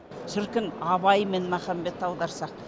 шіркін абай мен махамбетті аударсақ